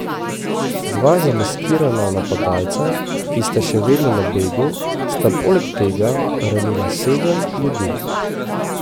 Dva zamaskirana napadalca, ki sta še vedno na begu, sta poleg tega ranila sedem ljudi.